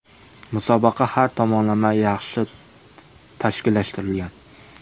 Musobaqa har tomonlama yaxshi tashkillashtirilgan.